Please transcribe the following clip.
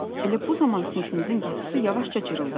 Elə bu zaman sinifimizin qapısı yavaşca cırıldadı.